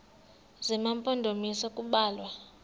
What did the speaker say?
zema mpondomise kubalwa